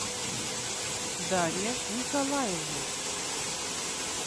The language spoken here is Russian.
дарья николаевна